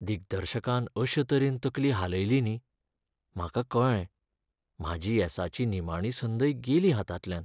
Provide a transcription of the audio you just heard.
दिग्दर्शकान अशे तरेन तकली हालयली न्ही, म्हाका कळ्ळें, म्हाजी येसाची निमाणी संदय गेली हातांतल्यान.